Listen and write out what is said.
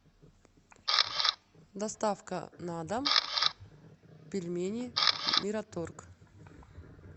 доставка на дом пельмени мираторг